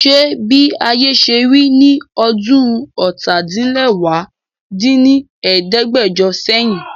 Ṣé bí ayé ṣe rí ní ọdún ọ́ta-din-lẹwá dín ní ẹ̀ẹ́dẹ́gbẹ́jọ sẹ́yìn?